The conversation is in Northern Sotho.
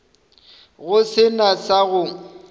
go se na sa go